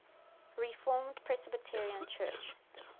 reformed presbyterian church